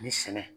Ni sɛnɛ